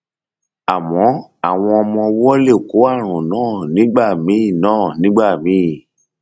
àmọ àwọn ọmọ ọwọ lè kó ààrùn náà nígbà míì náà nígbà míì